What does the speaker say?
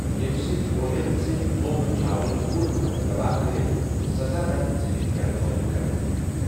یمہِ سٕندۍ فوجن ژھنہِ مُغ چھاونی پوٗرٕ پٲٹھۍ تباہ کرِتھ تہٕ سزا رنگہِ ژھنِکھ یرغمال قتل کرِتھ ۔